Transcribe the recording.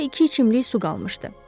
Daha iki içimlik su qalmışdı.